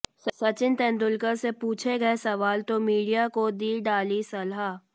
सचिन तेंदुलकर से पूछे गए सवाल तो मीडिया को दी डाली सलाह